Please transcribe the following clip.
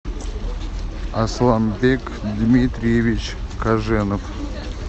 асланбек дмитриевич каженов